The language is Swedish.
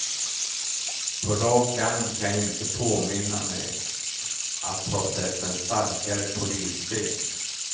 På rak arm kan jag inte påminna mig att ha sett en starkare polisfilm.